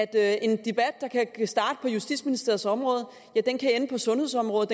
at en debat der kan starte på justitsministeriets område kan ende på sundhedsområdet